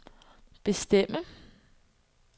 bestemme